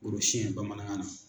Gorosiyɛn bamanankan na.